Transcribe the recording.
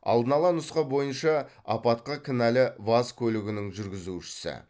алдын ала нұсқа бойынша апатқа кінәлі ваз көлігінің жүргізушісі